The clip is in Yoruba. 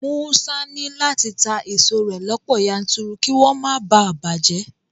Musa ní láti ta èso rẹ̀ lọ́pọ̀ yanturu kí wọ́n má bàa bàjẹ́